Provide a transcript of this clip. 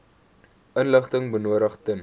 inligting benodig ten